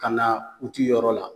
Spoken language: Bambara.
Ka na uti yɔrɔ la